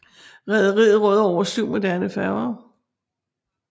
Rederiet råder over syv moderne færger